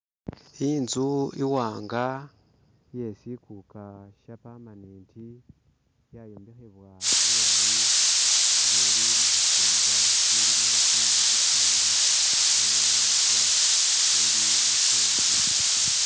Inzu iwanga iye siguga sha permanent yayombekhebwa bulayi nga ili mushisinza shilimo zinzu zizindi amala ili mu fenci.